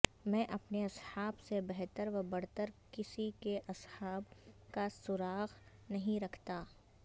میں اپنے اصحاب سے بہتر و برتر کسی کے اصحاب کاسراغ نہیں رکھتا